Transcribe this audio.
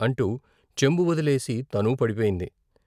' అంటూ చెంబు వొదిలేసి తనూ పడిపోయింది.